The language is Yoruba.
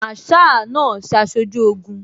Masaa náà ṣaṣojú Ogun